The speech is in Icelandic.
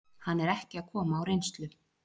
Hann er ekki að koma á reynslu.